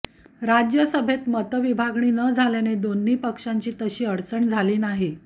राज्यसभेत मतविभागणी न झाल्याने दोन्ही पक्षांची तशी अडचण झाली नाही